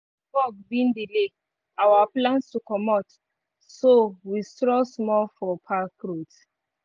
fog bin delay our plans to comot so we stroll small for park roads.